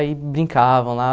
Aí, brincavam lá.